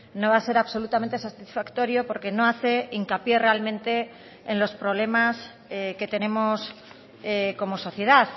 no va a ser absolutamente satisfactorio porque no hace hincapié realmente en los problemas que tenemos como sociedad